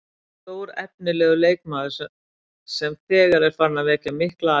Stórefnilegur leikmaður sem þegar er farinn að vekja mikla athygli.